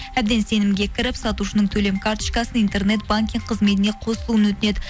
әбден сенімге кіріп сатушының төлем карточкасын интернет банкинг қызметіне қосылуын өтінеді